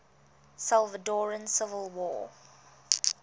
salvadoran civil war